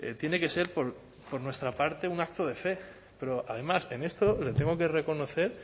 tiene que ser por nuestra parte un acto de fe pero además en esto le tengo que reconocer